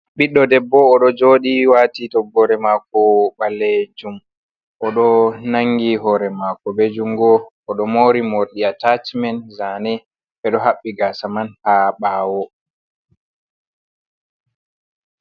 Ɓiɗɗo debbo oɗo joodi wati toggorere mako ɓaleejuum, oɗo nangi hore mako be jungo oɗo mori morɗi atashimen zane ɓe do haɓbi gasa man ha ɓawo.